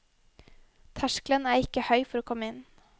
Terskelen er ikke høy for å komme inn.